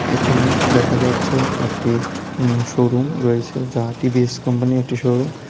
এখানে দেখা যাচ্ছে একটি উম শোরুম রয়েছে যা টি_ভি_এস কোম্পানি -র একটি শোরুম ।